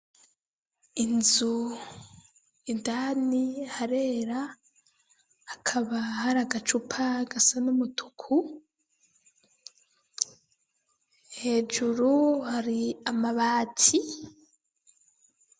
Inzu indani harera ,hakaba hari agacupa gasa n’umutuku ,hejuru hari amabati.